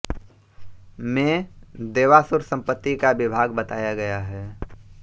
में देवासुर संपत्ति का विभाग बताया गया है